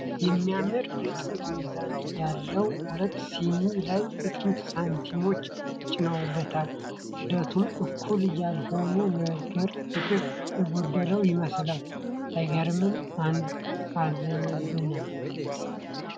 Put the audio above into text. የሚያምር የጥንት ሚዛን! ያውም ሁለቱ ሲኒ ላይ የጥንት ሳንቲሞች ተጭነውበት! ክብደቱ እኩል ያልሆነው ነገር ፍትህ የጎደለው ይመስሏል! አይገርምም አንዱ አዘንብላል።